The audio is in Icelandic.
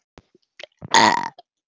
Strengurinn nafla á leiðinni að slitna.